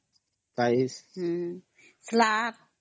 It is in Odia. ଅମ୍